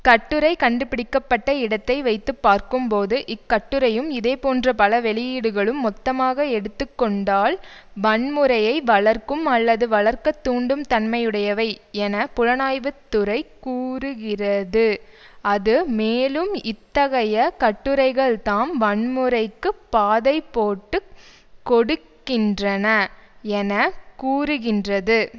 கட்டுரை கண்டு பிடிக்க பட்ட இடத்தை வைத்து பார்க்கும்போது இக்கட்டுரையும் இதேபோன்ற பல வெளியீடுகளும் மொத்தமாக எடுத்து கொண்டால் வன்முறையை வளர்க்கும் அல்லது வளர்க்கத்தூண்டும் தன்மையுடையவை என புலனாய்வு துறை கூறுகிறது அது மேலும் இத்தகைய கட்டுரைகள்தாம் வன்முறைக்கு பாதைபோட்டுக் கொடுக்கின்றன என கூறுகின்றது